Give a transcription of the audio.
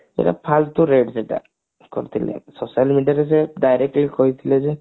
ଫାଲତୁ red ସେଟା କରିଥିଲେ social media ରେ ସେ direct ହିଁ କହିଥିଲେ ଯେ